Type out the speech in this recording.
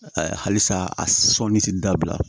halisa a sɔnni tɛ dabila